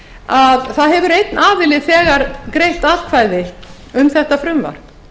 að það hefur einn aðili þegar greitt atkvæði um þetta frumvarp